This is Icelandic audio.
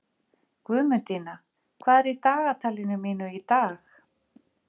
Guðmundína, hvað er í dagatalinu mínu í dag?